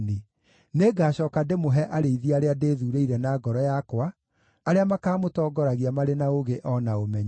Nĩngacooka ndĩmũhe arĩithi arĩa ndĩthuurĩire na ngoro yakwa, arĩa makaamũtongoragia marĩ na ũũgĩ o na ũmenyo.”